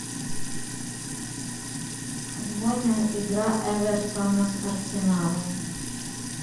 футбольная игра эвертона с арсеналом